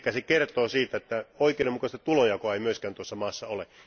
Eli se kertoo siitä, että oikeudenmukaista tulonjakoa ei myöskään tuossa maassa ole.